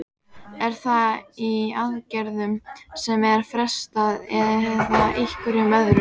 Er það í aðgerðum sem er frestað eða einhverju öðru?